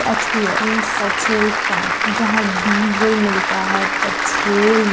HPA means petrol pump जहां diesel मिलता है पेट्रोल --